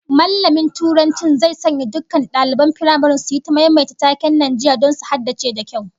Mallamin Turancin zai sanya dukkan daliban firamaren su yi ta maimaita taken Najeriya don su haddace da kyau